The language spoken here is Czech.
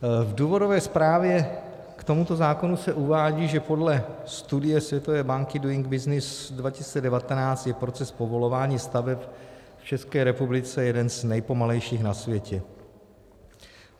V důvodové zprávě k tomuto zákonu se uvádí, že podle studie Světové banky Doing Business 2019 je proces povolování staveb v České republice jeden z nejpomalejších na světě.